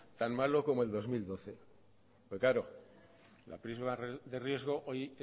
tan malo como el dos mil doce pero claro la prima de riesgo hoy